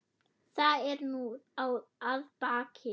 Það er nú að baki.